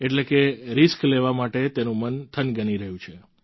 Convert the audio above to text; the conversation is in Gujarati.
એટલે કે રિસ્ક લેવા માટે તેનું મન થનગની રહ્યું છે